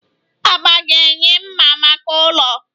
Agba ga-enye mma maka ụlọ.